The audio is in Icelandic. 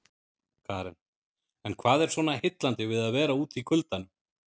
Karen: En hvað er svona heillandi við að vera úti í kuldanum?